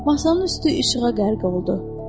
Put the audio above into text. Masanın üstü işığa qərq oldu.